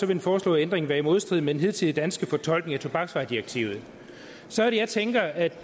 den foreslåede ændring være i modstrid med den hidtidige danske fortolkning af tobaksvaredirektivet så er det jeg tænker at